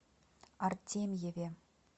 артемьеве